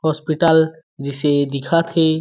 Hospital जैसे दिखत हे।